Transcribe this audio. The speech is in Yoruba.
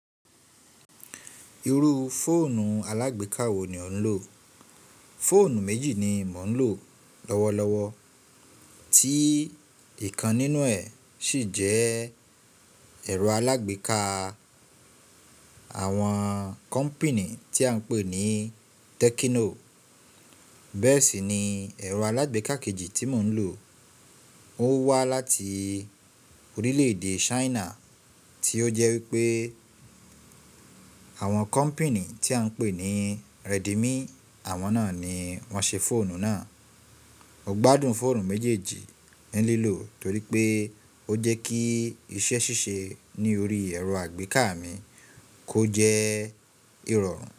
Irú fóònù alágbèká wo ni ò ń lò? Fóònù méjì ni mò ń lò lọ́wọ́lọ́wọ́, tí ìkan nínú ẹ̀ sì jẹ́ Èrọ alágbèká àwọn kọ́pìnì tí a ń pè ní Tẹ́kíno. Bẹ́ẹ̀ sì ni ẹ̀rọ alágbèká kejì tí mò ń lò, ó wá láti orílẹ̀-èdè Chaina tí ó jẹ́ wípé Àwọn kọ́pìnì tí a ń pè ní Redimi Àwọn náà ni wọ́n ṣe fóònù náà. Mo gbádùn fóònù méjèèjì ní lílò torí pé ó jẹ́ kí iṣẹ́ ṣíṣe ní orí ẹ̀rọ àgbéká mi kó jẹ́ ìrọ̀rùn.